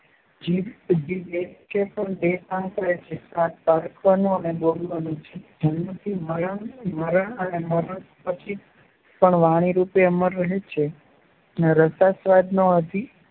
જીભ એક છે પણ બે કામ કરે છે સ્વાદ પારખવાનું અને બોલવાનું. જીભ જન્મથી મરણ અને મરણ પછી પણ વાણીરૂપે અમર રહે છે. અને રસાસ્વાદનો